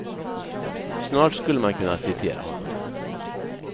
Snart skulle man kunna citera honom.